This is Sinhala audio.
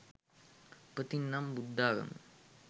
උපතින් නම් බුද්ධාගම